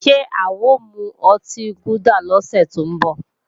Ṣé a ò mu ọtí gúdà lọ́sẹ̀ tí ń bọ̀?